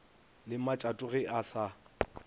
le matšato ge e sa